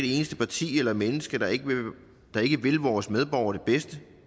eneste parti eller menneske der ikke vil vores medborgere det bedste